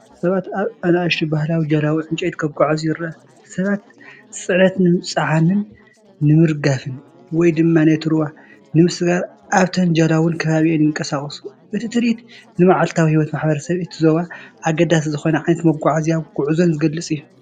ሰባት ኣብ ንኣሽቱ ባህላዊ ጀላቡ ዕንጨይቲ ክጓዓዙ ይረኣ፣ ሰባት ጽዕነት ንምጽዓንን ንምርጋፍን ወይ ድማ ነቲ ሩባ ንምስጋር ኣብተን ጀላቡን ከባቢኣን ይንቀሳቐሱ። እቲ ትርኢት ንመዓልታዊ ህይወት ማሕበረሰባት እቲ ዞባ ኣገዳሲ ዝኾነ ዓይነት መጓዓዝያን ጉዕዞን ዝገልጽ እዩ።